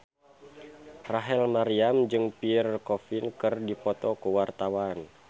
Rachel Maryam jeung Pierre Coffin keur dipoto ku wartawan